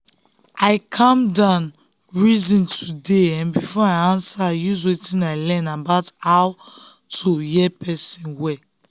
i calm down reason today um before i answer use wetin i learn about how to hear person well.